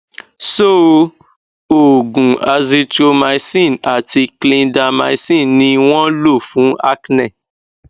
so oògùn azithromycin àti clindamycin ni wọn lo fún acne